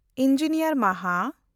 engineer ᱢᱟᱦᱟ